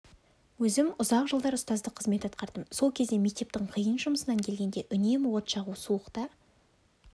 өзім ұзақ жылдар ұстаздық қызмет атқардым сол кезде мектептің қиын жұмысынан келгенде үнемі от жағу суықта